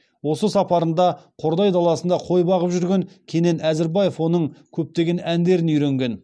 осы сапарында қордай даласында қой бағып жүрген кенен әзірбаев оның көптеген әндерін үйренген